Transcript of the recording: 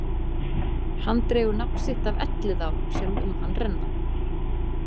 Hann dregur nafn sitt af Elliðaám, sem um hann renna.